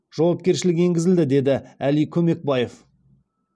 жауапкершілік енгізілді деді әли көмекбаев